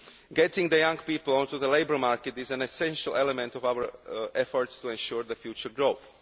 Getting young people on to the labour market is an essential element of our efforts to ensure future growth.